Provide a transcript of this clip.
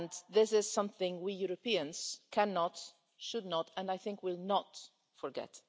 This is something we Europeans cannot, should not and, I think, will not forget.